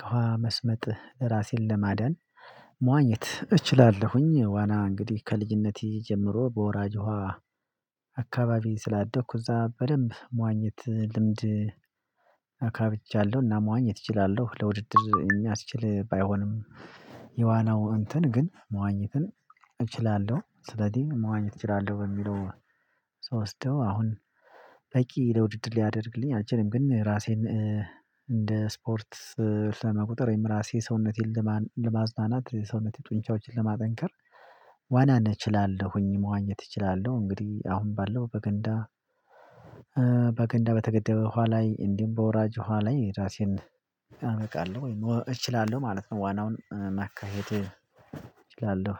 ከውሃ መስመጥ ራሴን ለማዳን መዋኘት እችላለሁኝ። ዋና እንግዲህ ከልጅነቴ ጀምሮ በወራጅ ውሃ አካባቢ ስላደኩ እዛ በደንብ መዋኘት ልምድ። መዋኘት እችላለሁ ለውድድር የሚያስችል ባይሆንም የዋናው እንትን ግን መዋኘትን እችላለሁ። ስለዚህ መዋኘት እችላለሁ በሚለው ስወስደው አሁን ለውድድር ሊያደርግልኝ አልችልም። ግን ራሴን እንደ ስፖርት ለመቁጠር ወይም ራሴ ሰውነቴን ለማዝናናት የሰውነቴን ጡንቻዎችን ለማጠንከር ዋናን እችላለሁኝ መዋኘት እችላለሁ። እንግዲህ አሁን ባለው በገንዳ በገንዳ በተገደበ ውሃ ላይ እንዲሁም በወራጅ ውሃ ላይ ራሴን እናበቃለሁ እችላለሁ ማለት ነው። ዋናውን ማካሄድ እችላለሁ